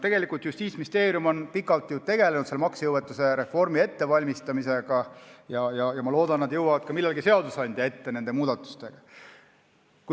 Tegelikult on Justiitsministeerium pikalt tegelenud maksejõuetuse reformi ettevalmistamisega ja ma loodan, et nad jõuavad millalgi nende muudatustega ka seadusandja ette.